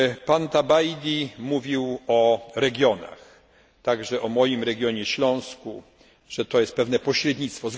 Pan Tabajdi mówił o regionach, także o moim regionie Śląsku, że to jest pewne pośrednictwo.